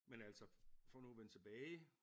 Men altså for nu at vende tilbage